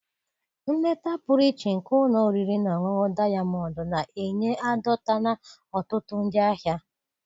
Nleta pụrụ iche nke ụlọ oriri na ọṅụṅụ Dayamọndụ na-enye adọtala ọtụtụ ndị ahịa.